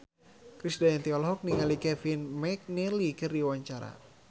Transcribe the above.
Krisdayanti olohok ningali Kevin McNally keur diwawancara